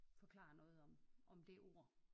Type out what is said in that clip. Forklarer noget om om det ord